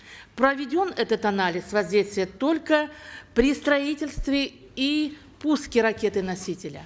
проведен этот анализ воздействия только при строительстве и пуске ракеты носителя